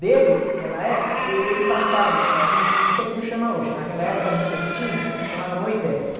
Dele, ela é, eh, ele passava, eh, a gente não sei como chama hoje, naquela época era um cestinho, chamava Moisés.